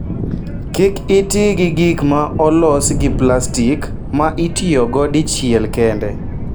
Kik iti gi gik ma olos gi plastik ma itiyogo dichiel kende.